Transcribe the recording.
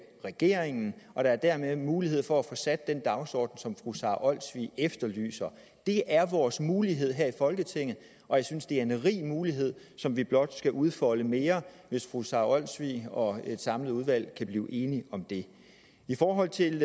regeringen og der er dermed mulighed for at få sat den dagsorden som fru sara olsvig efterlyser det er vores mulighed her i folketinget og jeg synes det er en rig mulighed som vi blot skal udfolde mere hvis fru sara olsvig og et samlet udvalg kan blive enige om det i forhold til